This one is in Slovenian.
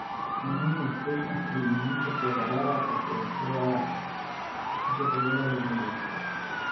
O njuni uspešnosti ministrske kariere pa so svoje že povedali volilci.